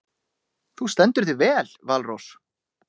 Þú stendur þig vel, Valrós!